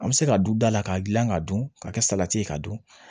An bɛ se ka du dala k'a dilan k'a dun k'a kɛ salati ye k'a dun